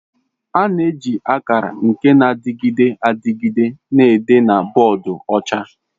A na-eji akara nke na-adịgide adịgide na-ede na boodu ọcha.